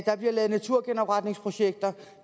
der bliver lavet naturgenopretningsprojekter